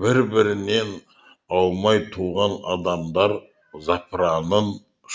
бір бірінен аумай туған адамдар запыранын